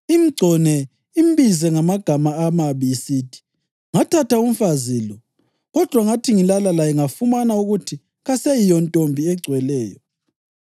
imgcone imbize ngamagama amabi, isithi, ‘Ngathatha umfazi lo, kodwa ngathi ngilala laye ngafumana ukuthi kaseyiyontombi egcweleyo,’